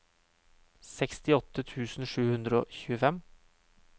sekstiåtte tusen sju hundre og tjuefem